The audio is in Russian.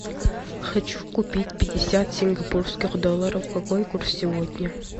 хочу купить пятьдесят сингапурских долларов какой курс сегодня